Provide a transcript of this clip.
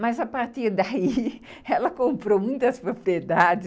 Mas, a partir daí, ela comprou muitas propriedades.